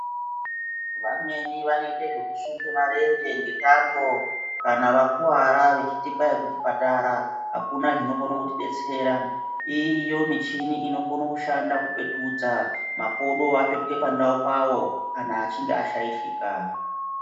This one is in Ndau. Vamweni vanoite zvekusunge marenje ngetamba kana vakuwara ngekuti kwai kuchipatara akuna zvinokone kuti detserw iriyo michina inokone kushandakupetudza Makodo akone kupetuke pandau pawo kana achinge ashaishika.